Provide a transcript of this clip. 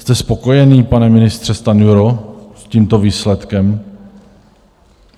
Jste spokojený, pane ministře Stanjuro, s tímto výsledkem?